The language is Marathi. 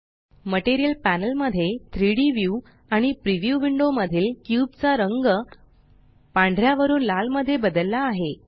मटीरियल पॅनल मध्ये 3Dव्यू आणि प्रीव्यू विंडो मधील क्यूब चा रंग पांढऱ्या वरून लाल मध्ये बदलला आहे